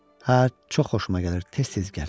Hə, çox xoşuma gəlir, tez-tez gəl.